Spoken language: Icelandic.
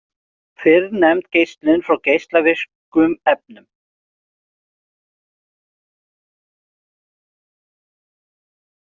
Fyrrnefnd geislun frá geislavirkum efnum.